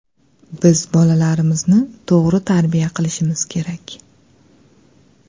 Biz bolalarimizni to‘g‘ri tarbiya qilishimiz kerak.